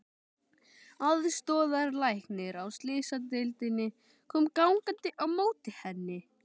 Aðstoðarlæknir á slysadeildinni kom gangandi á móti henni.